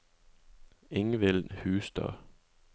Ingvild Hustad